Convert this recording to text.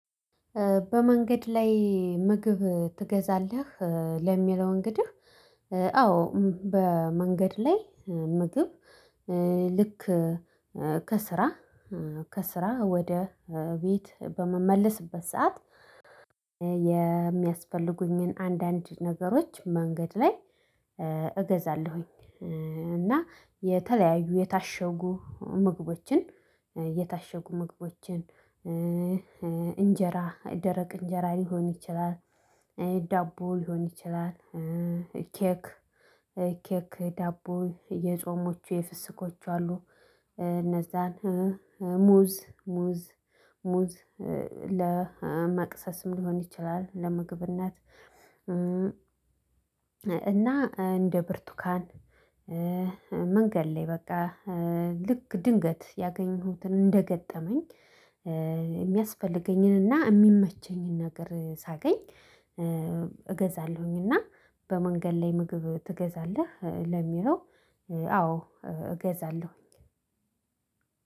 በመንገድ ላይ ምግብ ትገዛለህ? ለሚለው እንግዲህ አዎ በመንገድ ላይ ምግብ ልክ ከስራ ከስራ ወደ ቤት በምመለስበት ሰዓት የሚያስፈልጉኝን አንዳንድ ነገሮች መንገድ ላይ እገዛለሁኝ። እና የተለያዩ የታሸጉ ምግቦችን የታሸጉ ምግቦችን እንጀራ ደረቅ እንጀራ ሊሆን ይችላል ዳቦ ሊሆን ይችላል ኬክ ኬክ ዳቦ የጾሞቹ የፍስኮች አሉ። እነዛን ሙዝ ሙዝ ሙዝ ለመቅሰስም ሊሆን ይችላል ለምግብነት። እና እንደ ብርቱካን መንገድ ላይ በቃ ልክ ድንገት ያገኘሁትን እንደገጠመኝ የሚያስፈልገኝንና የሚመቸኝን ነገር ሳገኝ እገዛለሁኝ። እና በመንገድ ላይ ምግብ ትገዛለህ? ለሚለው አዎ እገዛለሁ።